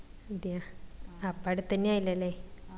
അത്യാ അപ്പൊ അടുത്തെന്നേ ആയില്ലല്ലേ